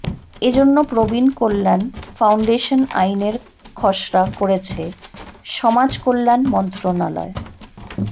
এজন্য প্রবীণ কল্যাণ ফাউন্ডেশন আইনের খসড়া করেছে সমাজকল্যাণ মন্ত্রণালয়